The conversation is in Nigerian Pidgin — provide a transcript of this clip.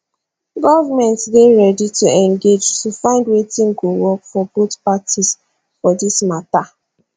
govment dey ready to engage to find wetin go work for both parties for dis mata